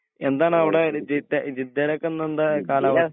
എന്താണവടെ ജിദേ ജിദേലൊക്കെന്താണ് കാലാവസ്ഥ